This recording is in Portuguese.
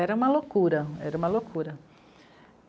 Era uma loucura, era uma loucura.